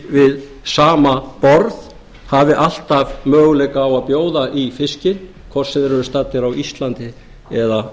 við sama borð hafi alltaf möguleika á að bjóða í fiskinn hvort sem þeir eru staddir á íslandi eða